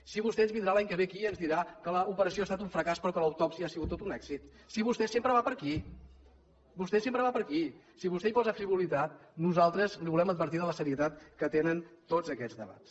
si vostè ens vindrà l’any que ve aquí i ens dirà que l’operació ha estat un fracàs però que l’autòpsia ha sigut tot un èxit si vostè sempre va per aquí vostè sempre va per aquí si vostè hi posa frivolitat nosaltres el volem advertir de la serietat que tenen tots aquests debats